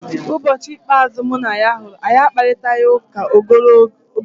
Ụbọchị ikpeazụ mụ na ya hụrụ, anyị akparịtaghị ụka ogologo oge.